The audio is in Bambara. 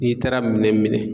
N'i taara minɛn minɛ.